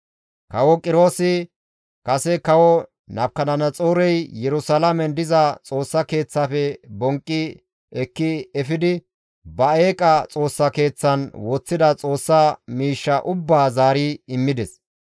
Kawo Qiroosi kase kawo Nabukadanaxoorey Yerusalaamen diza Xoossa Keeththafe bonqqi ekki efidi ba eeqa xoossa keeththan woththida Xoossa miishshaa ubbaa zaari immides.